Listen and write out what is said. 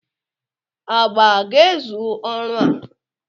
agba a ga-ezu ọrụ a?